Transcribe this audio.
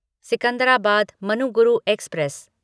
Secunderabad Manuguru express